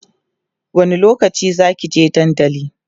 wani lokaci Zaki je dandali?